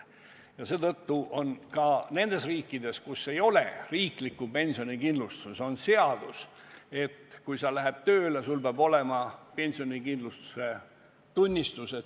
Ja seetõttu kehtib ka nendes riikides, kus ei ole riiklikku pensionikindlustust, seadus, et kui sa lähed tööle, siis sul peab olema pensionikindlustuse tunnistus.